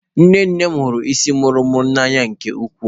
Nne nne m hụrụ isii muru muru n'anya nke ukwuu.